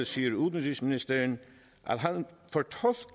siger udenrigsministeren